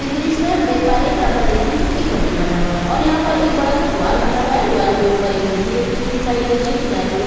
इस दृश्य में हम देख पा रहे है कि यहाँ पर देखिए एक मंदिर बना हुआ है और यहाँ पर एक बड़ा सा द्वार बना हुआ है द्वार के ऊपर एक मूर्ति रखी हुई दिखाई दे रही है किनारे की --